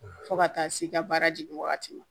Fo ka taa se i ka baara jigin wagati ma